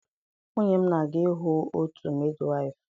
Nwunye m na-aga ịhụ otu midwaịfụ.